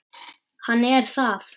Hann er það.